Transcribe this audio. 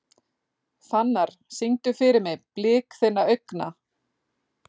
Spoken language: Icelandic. Fannar, syngdu fyrir mig „Blik þinna augna“.